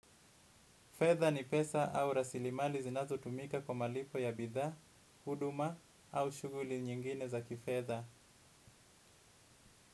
Fedha ni pesa au rasilimali zinazo tumika kwa malipo ya bidhaa, huduma au shughuli nyingine za kifedha.